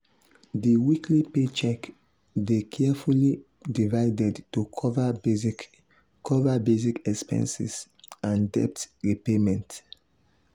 di weekly paycheck dey carefully divided to cover basic cover basic expenses and debt repayment.